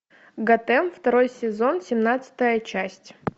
готэм второй сезон семнадцатая часть